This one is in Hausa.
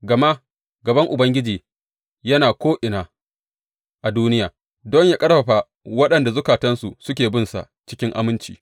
Gama gaban Ubangiji yana ko’ina a duniya don yă ƙarfafa waɗanda zukatansu suke binsa cikin aminci.